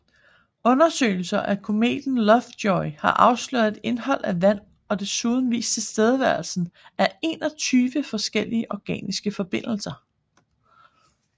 Undersøgelser af kometen Lovejoy har afsløret et indhold af vand og desuden vist tilstedeværelsen af 21 forskellige organiske forbindelser